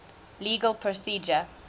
legal procedure